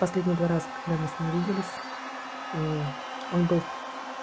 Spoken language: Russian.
последние два раз когда мы с ним виделись ну он был в